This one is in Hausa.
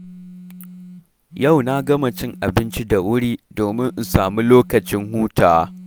Yau na gama cin abinci da wuri domin in samu lokacin hutawa.